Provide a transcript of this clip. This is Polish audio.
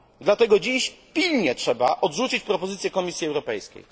Dlatego dziś pilnie trzeba odrzucić propozycję Komisji Europejskiej.